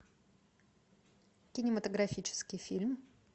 кинематографический фильм